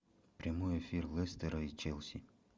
прямой эфир лестера и челси